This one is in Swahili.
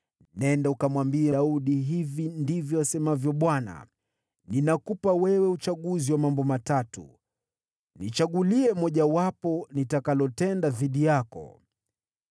“Nenda ukamwambie Daudi, ‘Hivi ndivyo asemavyo Bwana : Ninakupa wewe uchaguzi wa mambo matatu. Nichagulie mojawapo nitakalotenda dhidi yako.’ ”